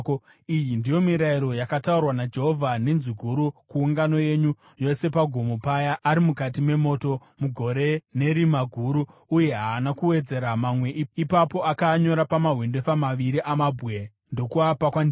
Iyi ndiyo mirayiro yakataurwa naJehovha nenzwi guru kuungano yenyu yose pagomo paya ari mukati memoto, mugore nerima guru, uye haana kuwedzera mamwe. Ipapo akaanyora pamahwendefa maviri amabwe ndokuapa kwandiri.